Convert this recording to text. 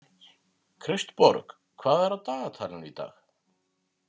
Kristborg, hvað er á dagatalinu í dag?